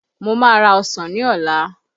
Mo má ra ọsàn ní ọ̀la